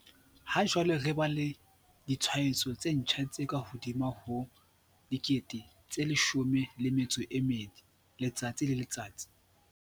Ha jwale re ba le ditshwaetso tse ntjha tse kahodimo ho 12 000 letsatsi le letsatsi.